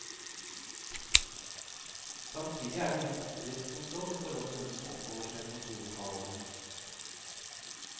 Samtidig er det ingen sikkerhetskontroll i forhold til hvem som oppholder seg i kontorlokalene.